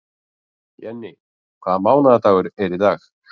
Jenni, hvaða mánaðardagur er í dag?